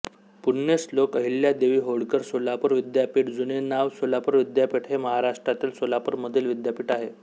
पुण्यश्लोक अहिल्यादेवी होळकर सोलापूर विद्यापीठ जूने नाव सोलापूर विद्यापीठ हे महाराष्ट्रातील सोलापूर मधील विद्यापीठ आहे